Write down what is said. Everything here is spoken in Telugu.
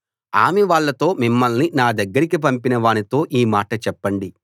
ఆమె వాళ్ళతో మిమ్మల్ని నా దగ్గరికి పంపిన వానితో ఈ మాట చెప్పండి